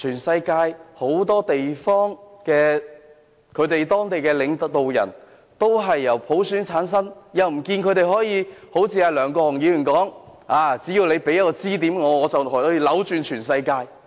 世界上很多地方的領導人都是由普選產生，但不見得他們可以一如梁國雄議員所說般扭轉全世界。